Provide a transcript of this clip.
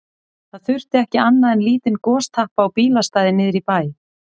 Það þurfti ekki annað en lítinn gostappa á bílastæði niðri í bæ.